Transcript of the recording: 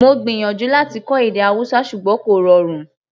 Mo gbìyànjú láti kọ́ èdè Hausa ṣùgbọ́n kò rọrùn